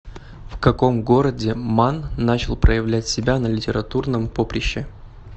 в каком городе манн начал проявлять себя на литературном поприще